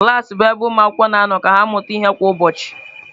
Klas bụ ebe ụmụ akwụkwọ na-anọ ka ha mụta ihe kwa ụbọchị.